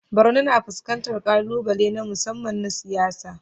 Borno na fuskantar ƙalubale na musamman na siyasa.